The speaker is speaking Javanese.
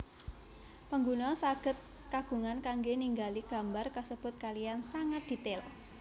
Pengguna sagèd kagungan kanggè ningali gambar kasèbut kaliyan sangat dètail